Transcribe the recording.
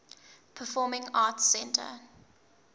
performing arts center